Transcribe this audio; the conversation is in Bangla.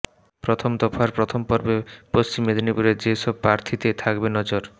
প্রথম দফার প্রথম পর্বে পঃ মেদিনীপুরে যে সব প্রার্থীতে থাকবে নজর